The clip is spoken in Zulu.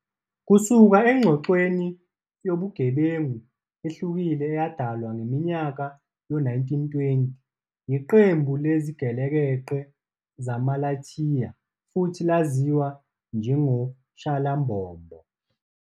Kusuka engxoxweni yobugebengu ehlukile eyadalwa ngeminyaka yo-1920 yiqembu lezigelekeqe zaMaLaita futhi laziwa njengoShalambombo.